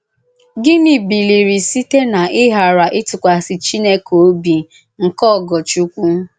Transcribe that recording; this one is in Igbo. Gịnị bìlìrì sītẹ̀ n’íghàrà ìtụ̀kwàsì Chìnèkè òbì nke Ògòrchùkwù?